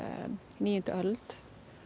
níundu öld